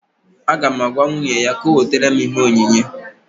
Aga m agwa nwunye ya ka ọ wetara m ihe onyinye